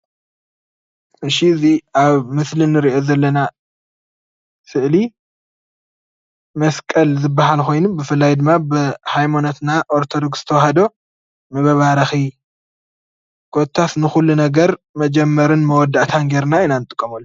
እሺ እዚ ኣብ ምስሊ ንርኦ ዘለና ስእሊ መስቀል ዝባሃል ኮይኑ በፍላይ ድማ ብሃይማኖትና ኦርቶዶክስ ተዋህዶ ንመባረኪ ኮታሰ ንኩሉ ነገር መጀመረታን መወዳእታን ገረና ኢና እንጥቀመሉ፡፡